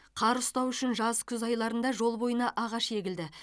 қар ұстау үшін жаз күз айларында жол бойына ағаш егілді